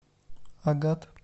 агат